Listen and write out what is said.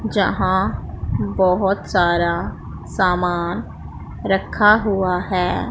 जहां बहोत सारा सामान रखा हुआ है।